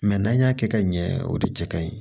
Mɛ n'an y'a kɛ ka ɲɛ o de cɛ ka ɲi